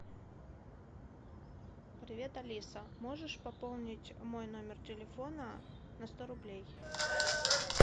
привет алиса можешь пополнить мой номер телефона на сто рублей